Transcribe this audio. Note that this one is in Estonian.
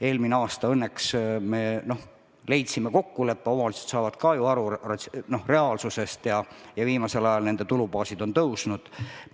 Eelmisel aastal me õnneks leidsime kokkuleppe, omavalitsused saavad ju ka reaalsusest aru ja viimasel ajal on nende tulubaas tõusnud.